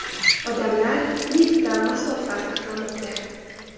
Odamlar liftda masofa saqlamoqda.